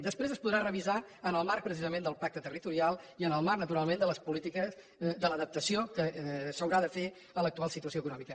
després es podrà revisar en el marc precisament del pacte territorial i en el marc naturalment de l’adaptació que s’haurà de fer en l’actual situació econòmica